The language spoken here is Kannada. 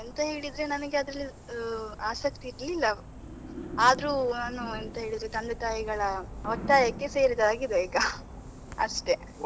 ಎಂತ ಹೇಳಿದ್ರೆ ನನಗೆ ಅದ್ರಲ್ಲಿ ಆಸಕ್ತಿ ಇರ್ಲಿಲ್ಲ, ಆದ್ರೂ ನಾನು ಎಂತ ಹೇಳಿದ್ರೆ ತಂದೆ ತಾಯಿಗಳ ಒತ್ತಾಯಕ್ಕೆ ಸೇರಿದಾಗೆ ಇದೆ ಈಗ ಅಷ್ಟೇ.